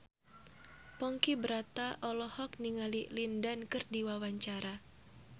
Ponky Brata olohok ningali Lin Dan keur diwawancara